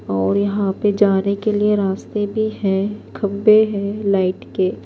.اور یحیٰ پی جانے کے لئے راستے پی ہیں تھمبے ہیں لایٹ کے